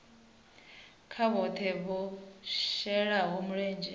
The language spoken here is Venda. kha vhoṱhe vho shelaho mulenzhe